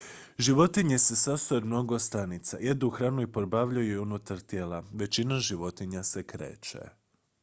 životinje se sastoje od mnogo stanica jedu hranu i probavljaju je unutar tijela većina životinja se kreće